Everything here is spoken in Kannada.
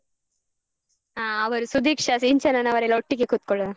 ಹ ಅವರು ಸುದೀಕ್ಷಾ, ಸಿಂಚನನವರೆಲ್ಲ ಒಟ್ಟಿಗೆ ಕೂತ್ಕೊಳ್ಳೋಣ.